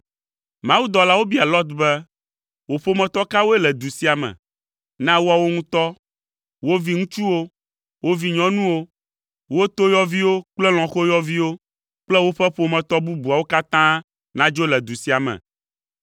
Mawudɔlawo bia Lot be, “Wò ƒometɔ kawoe le du sia me? Na woawo ŋutɔ, wo viŋutsuwo, wo vinyɔnuwo, wo toyɔviwo kple lɔ̃xoyɔviwo kple woƒe ƒometɔ bubuawo katã nadzo le du sia me,